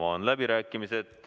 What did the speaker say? Avan läbirääkimised.